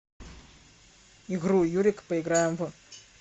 игру юрик поиграем в